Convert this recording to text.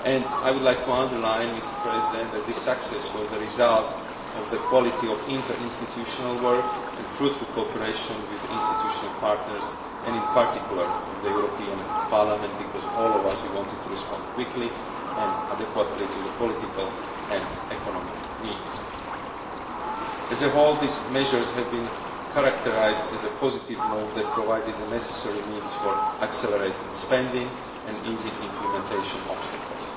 I would like to underline that this success was the result of the quality of interinstitutional work and fruitful cooperation with the institutional partners and, in particular, with the European Parliament because all of us wanted to respond quickly and adequately to the political and economic needs. As a whole, these measures have been characterised as a positive move that provided the necessary means for accelerating spending and easing implementation obstacles.